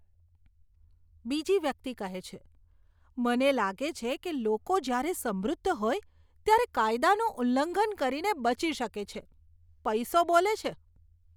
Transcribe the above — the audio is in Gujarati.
બીજી વ્યક્તિ કહે છે, મને લાગે છે કે લોકો જ્યારે સમૃદ્ધ હોય ત્યારે કાયદાનું ઉલ્લંઘન કરીને બચી શકે છે. પૈસો બોલે છે!